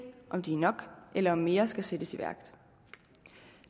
om de er nok eller om mere skal sættes i værk